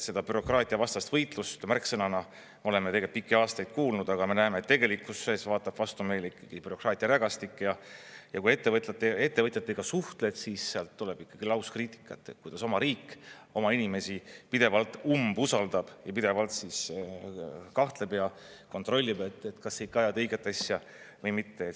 Seda bürokraatiavastast võitlust märksõnana oleme pikki aastaid kuulnud, aga me näeme, et tegelikkuses vaatab vastu meil ikkagi bürokraatia rägastik ja kui ettevõtjatega suhtled, siis sealt tuleb ikkagi lauskriitikat, kuidas oma riik oma inimesi pidevalt umbusaldab ja pidevalt kahtleb ja kontrollib, kas sa ikka ajad õiget asja või mitte.